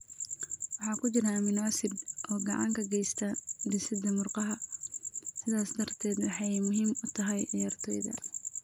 Waxa ku jira amino acids oo gacan ka geysta dhisidda murqaha, sidaas darteedna waxay muhiim u tahay ciyaartoyda.